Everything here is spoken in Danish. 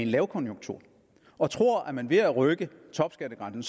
lavkonjunktur og tror at man ved at rykke topskattegrænsen